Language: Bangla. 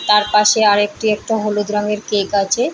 তার পাশে আর একটি একটু হলুদ রঙয়ের কেক আছে।